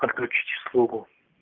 отключить услугу